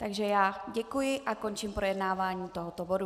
Takže já děkuji a končím projednávání tohoto bodu.